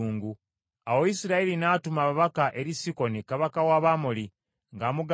Awo Isirayiri n’atuma ababaka eri Sikoni kabaka w’Abamoli ng’amugamba nti,